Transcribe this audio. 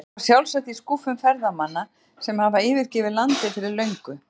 Eitthvað sjálfsagt í skúffum ferðamanna sem hafa yfirgefið landið fyrir löngu.